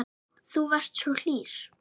Þú varst svo hlýr.